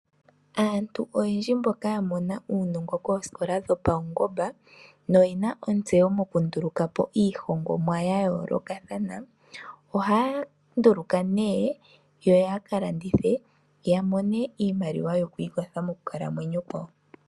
Aantu oyendji mboka yamona uunongo koosikola dhopaungomba noyena ontseyo mokundulukapo iihongomwa yayoolokathana, ohaya nduluka, yoyaka landithe yamone iimaliwa yokwiikwatha mokukalamwenyo kwawo.